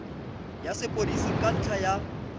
ya sepodisi ka ntlha ya